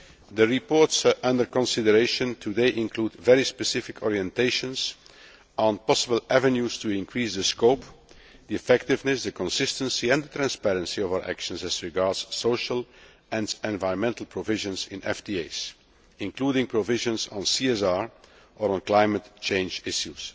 The reports under consideration today include very specific orientations on possible avenues for increasing the scope, effectiveness, consistency and transparency of our actions as regards social and environmental provisions in FTAs, including provisions on CSR or climate change issues.